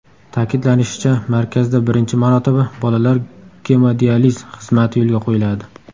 Ta’kidlanishicha, markazda birinchi marotaba bolalar gemodializ xizmati yo‘lga qo‘yiladi.